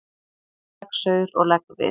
Tak saur og legg við.